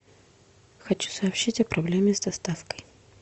хочу сообщить о проблеме с доставкой